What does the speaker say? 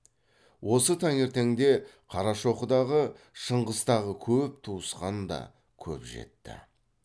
осы таңертеңде қарашоқыдағы шыңғыстағы көп туысқан да көп жетті